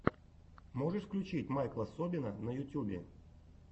можешь включить майкла собина на ютьюбе